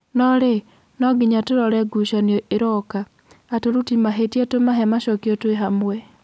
No-rĩ, no-nginya tũrore ngucanio iroka, atũruti mahĩtia tũmahe macokio tũĩhamwe."